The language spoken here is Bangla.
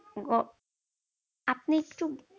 আপনি একটু।